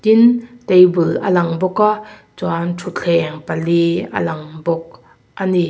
tin table a lang bawk a chuan thutthleng pali a lang bawk a ni.